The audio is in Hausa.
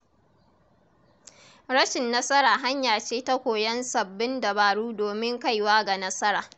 Rashin nasara hanya ce ta koyon sababbin dabaru domin kaiwa ga nasara.